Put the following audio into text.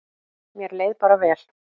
Mér leið bara vel.